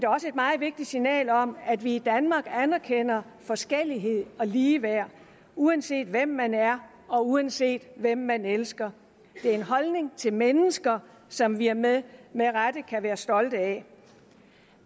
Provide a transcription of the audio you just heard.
også et meget vigtigt signal om at vi i danmark anerkender forskellighed og ligeværd uanset hvem man er og uanset hvem man elsker det er en holdning til mennesker som vi med rette kan være stolte af